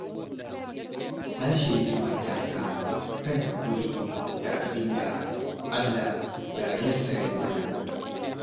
Na shaidi matata kan haƙuri da abinda Allah ya yassare mana.